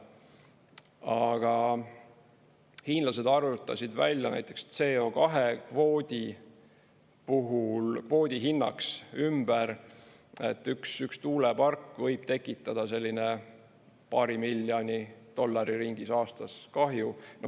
Aga hiinlased arvutasid välja näiteks CO2 kvoodi puhul kvoodi hinnaks ümber, et üks tuulepark võib tekitada selline paari miljoni dollari ringis aastas kahju.